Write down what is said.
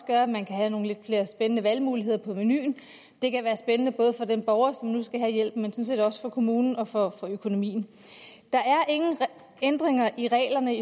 gøre at man kan have nogle lidt mere spændende valgmuligheder på menuen det kan være spændende både for den borger som nu skal have hjælpen og sådan set også for kommunen og for økonomien der er ingen ændringer i reglerne